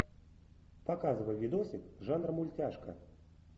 показывай видосик жанра мультяшка